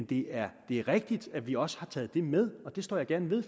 det er rigtigt at vi også har taget det med og det står jeg gerne ved